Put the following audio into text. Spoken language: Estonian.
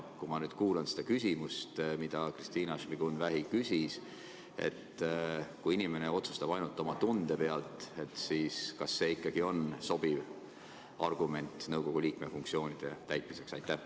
Kui ma kuulan seda küsimust, mida Kristina Šmigun-Vähi küsis, et kui inimene otsustab ainult oma tunde põhjal, siis kas see ikkagi on sobiv lähenemisviis nõukogu liikme funktsioonide täitmiseks?